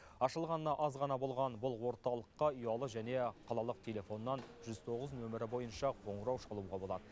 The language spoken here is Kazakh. ашылғанына аз ғана болған бұл орталыққа ұялы және қалалық телефоннан жүз тоғыз нөмірі бойынша қоңырау шалуға болад